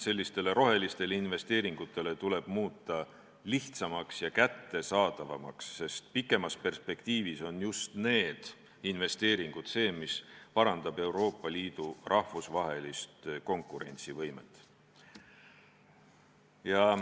Selliste roheliste investeeringute toetamise mehhanismid tuleb muuta lihtsamaks ja kättesaadavamaks, sest kaugemas perspektiivis parandavad just need investeeringud Euroopa Liidu rahvusvahelist konkurentsivõimet.